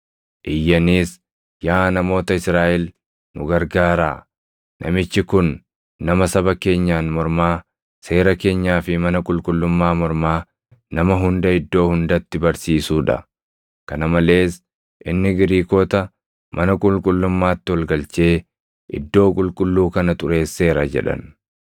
Iyyaniis, “Yaa namoota Israaʼel nu gargaaraa! Namichi kun nama saba keenyaan mormaa, seera keenyaa fi mana qulqullummaa mormaa nama hunda iddoo hundatti barsiisuu dha. Kana malees inni Giriikota mana qulqullummaatti ol galchee iddoo qulqulluu kana xureesseera” jedhan.